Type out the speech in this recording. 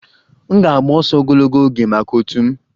M ga-agba ọsọ ogologo oge maka otu m